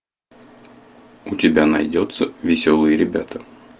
у тебя найдется веселые ребята